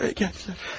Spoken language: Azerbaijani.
Buraya gəldilər.